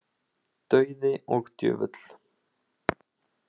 Dauði og djöfull.